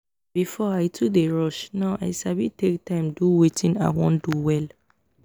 before i too dey rush now i sabi take time do wetin i wan do well